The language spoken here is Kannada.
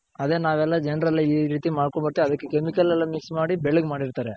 ಅದೆ ನಾವೆಲ್ಲಾ ಜನರೆಲ್ಲ ಇ ರೀತಿ ಮಾಡ್ಕೊಂಡ್ ಬಿಟ್ ಅದಕ್ಕ್ Chemical ಎಲ್ಲ Mix ಮಾಡಿ ಬೆಳ್ಳಗ್ ಮಾಡಿರ್ತಾರೆ.